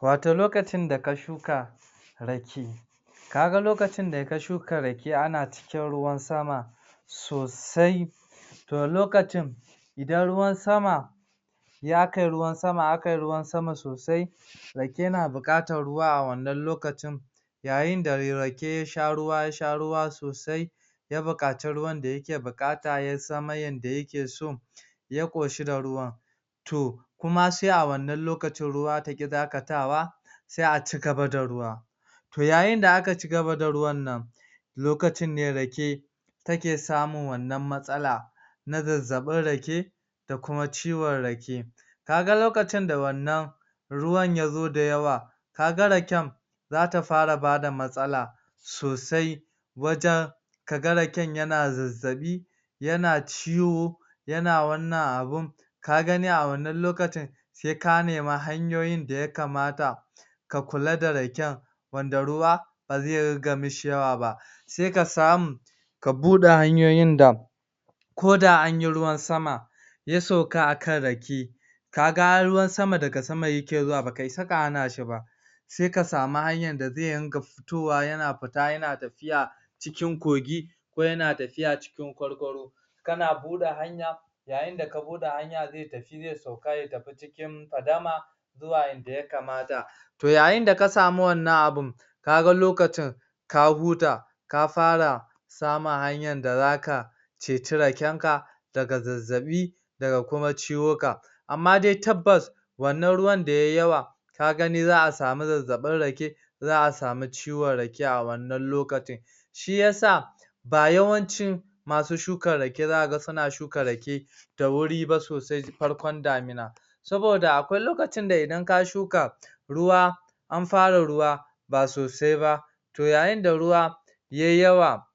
Wato lokacin da ka shuka rake ka ga lokacin da ka shuka rake ana cikin ruwan sama sosai to lokacin idan ruwan sama ya kai ruwan sama a kayi ruwan sama sosai rake na buƙatan ruwa a wannan lokacin yayin da rake ya sha ruwa ya sha ruwa sosai, ya buƙaci ruwan da yake buƙata ya zama yanda yake so ya ƙoshi da ruwan To kuma sai a wannan lokacin ruwa ya ƙi dakatawa sai a cigaba da ruwa To yayin da aka cigaba da ruwan nan lokacin ne rake take samun wannan matsala na zazzaɓin rake da kuma ciwon rake. Ka ga lokacin da wannan ruwan ya zo da yawa ka ga raken za ta fara bada matsala sosai, wajen kaga raken yana zazzaɓi yana ciwo, yana wannan abu,n ka gani a wannan lokacin sai ka nemi hanyoyin da ya kamata ka kula da raken wanda ruwa ba zai dinga mishi yawa ba Sai ka samu ka buɗe hanyoyin da ko da anyi ruwan sama ya sauka a kan rake, ka ga ruwan sama daga sama ya ke zuwa ba ka isa ka hana shi ba, sai ka samu hanyan da zai ringa fitowa yana fita yana tafiya cikin kogi ko yana tafiya cikin kwargwaro. kana buɗe hanya yayin da ka buɗe hanya zai tafi zai sauka ya tafi cikin fadama ko a yanda ya kamata To yayin da ka samu wannan abun, ka ga lokacin ka huta ka fara samun hanyan da zaka ceci raken ka daga zazzaɓi daga kuma ciwuka. Amma dai tabbas wannan ruwan da yayi yawa ka gani za a samu zazzaɓin rake za a samu ciwon rake a wannan lokacin. Shiyasa ba yawancin masu shukan rake za kaga suna shuka rake da wuri ba sosai farkon damina saboda akwai lokacin da idan ka shuka ruwa an fara ruwa ba sosai ba to yayin da ruwa yayi yawa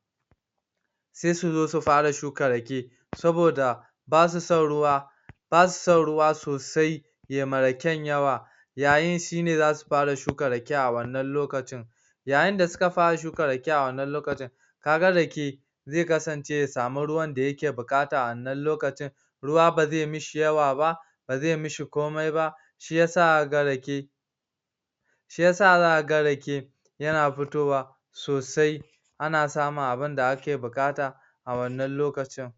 sai su zo su fara shukan rake saboda ba su son ruwa ba su son ruwa sosai ya ma raken yawa yayin shine za su fara shukan rake a wannan lokacin. yayin da suka fara shukan rake a wannan lokacin ka ga rake zai kasance ya samu ruwan da yake buƙata a wannan lokacin ruwa ba zai mishi yawa ba, ba zai mishi komai ba shiyasa aka ga rake Shi yasa za ka ga rake ya na fitowa sosai ana samun abinda ake buƙata a wannan lokacin.